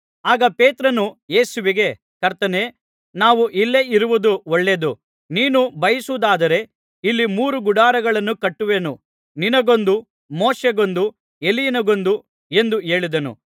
ಆಗ ಪೇತ್ರನು ಯೇಸುವಿಗೆ ಕರ್ತನೇ ನಾವು ಇಲ್ಲೇ ಇರುವುದು ಒಳ್ಳೆಯದು ನೀನು ಬಯಸುವುದಾದರೆ ಇಲ್ಲಿ ಮೂರು ಗುಡಾರಗಳನ್ನು ಕಟ್ಟುವೆನು ನಿನಗೊಂದು ಮೋಶೆಗೊಂದು ಎಲೀಯನಿಗೊಂದು ಎಂದು ಹೇಳಿದನು